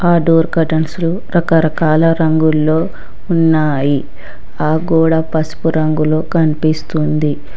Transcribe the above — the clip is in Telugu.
ఆ డోర్ కటెన్స్ రకరకాల రంగులో ఉన్నాయి ఆ గోడ పసుపు రంగులో కనిపిస్తుంది.